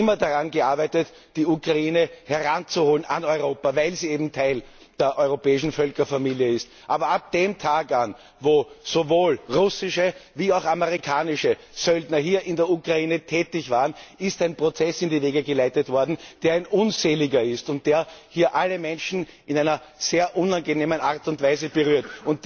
Wir haben immer daran gearbeitet, die Ukraine an Europa heranzuholen, weil sie eben Teil der europäischen Völkerfamilie ist. Aber von dem Tag an, wo sowohl russische wie auch amerikanische Söldner hier in der Ukraine tätig waren, ist ein Prozess in die Wege geleitet worden, der ein unseliger ist und der hier alle Menschen in einer sehr unangenehmen Art und Weise berührt.